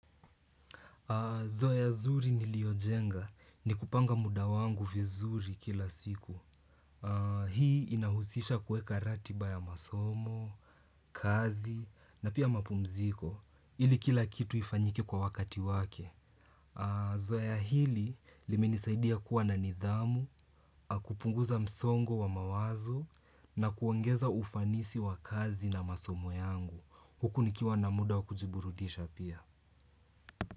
Zoea zuri niliojenga ni kupanga muda wangu vizuri kila siku. Hii inahusisha kueka ratiba ya masomo, kazi na pia mapumziko ili kila kitu ifanyike kwa wakati wake. Zoea hili limenisaidia kuwa na nidhamu, kupunguza msongo wa mawazo na kuongeza ufanisi wa kazi na masomo yangu. Huku nikiwa na muda wa kujiburudisha pia.